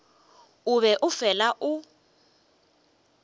o be o fela o